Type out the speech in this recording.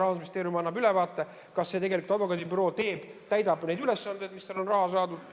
Rahandusministeerium annab ülevaate, kas see advokaadibüroo täidab neid ülesandeid, milleks tal on raha saadud.